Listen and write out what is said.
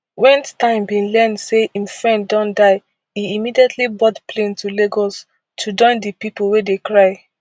wen stein bin learn say im friend don die e immediately board plane to lagos to join di pipo wey dey cry